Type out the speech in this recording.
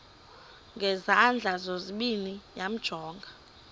ngezandla zozibini yamjonga